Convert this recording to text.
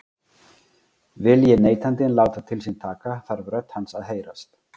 Vilji neytandinn láta til sín taka þarf rödd hans að heyrast.